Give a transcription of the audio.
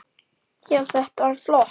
Já, þetta var flott.